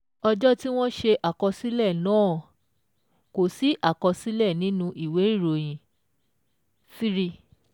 Ọjọ́ tí wọ́n ṣe àkọsílẹ̀ náà - kò sí àkọsílẹ̀ nínú ìwé ìròyìn three